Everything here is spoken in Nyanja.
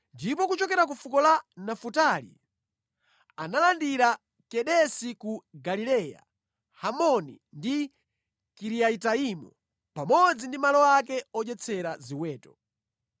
ndipo kuchokera ku fuko la Nafutali analandira Kedesi ku Galileya, Hamoni ndi Kiriyataimu, pamodzi ndi malo ake odyetsera ziweto.